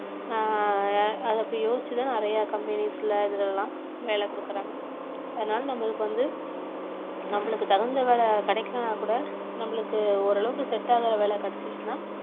ஆஹ் அத அப்படி யோசிச்சுதான் நிறைய companies ல இதுல எல்லாம் வேலை கொடுக்குறாங்க அதனால நம்மளுக்கு வந்து நம்மளுக்கு தகுந்த வேலை கிடைக்கலேன்னா கூட நம்மளுக்கு ஓரளவுக்கு set ஆகுற வேலை கிடைச்சிருச்சுன்னா